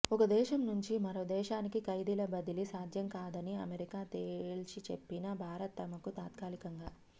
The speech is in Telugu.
ఒక దేశం నుంచి మరో దేశానికి ఖైదీల బదిలీ సాధ్యం కాదని అమెరికా తేల్చి చెప్పినా భారత్ తమకు తాత్కాలికంగా